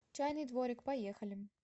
чайный дворик поехали